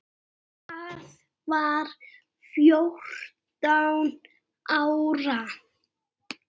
Hann var fjórtán ára.